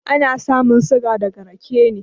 Ana samun suga daga raƙe ne.